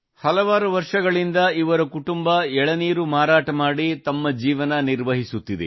ಹಲವಾರು ವರ್ಷಗಳಿಂದ ಇವರ ಕುಟುಂಬ ಎಳನೀರು ಮಾರಾಟ ಮಾಡಿ ತಮ್ಮ ಜೀವನ ಸಾಗಿಸುತ್ತಿದ್ದಾರೆ